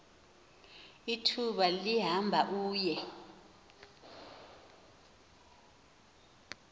ithuba lihamba uye